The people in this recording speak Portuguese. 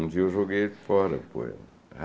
Um dia eu joguei fora o poema.